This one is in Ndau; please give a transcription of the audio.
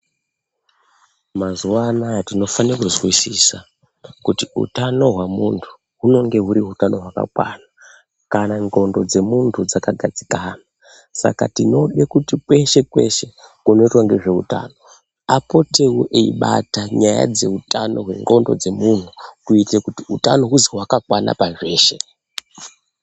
Mazuva anaya tinofane kuzwisisa kuti utano hwemuntu hunenge huri hutano hwakakwana kana ndxondo dzemuntu dzakagadzikana. Saka tinode kuti kweshe kweshe kunoitwe ngezveutano apotewo eibata nyaya dzeutano hwendxondo dzemunhu kuitire kuti utano huzi hwakakwana pazveshe.